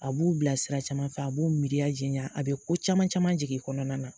A b'u bila sira caman fɛ, a b'u miiriya janya, a bɛ ko caman caman jigin u kɔnɔna na.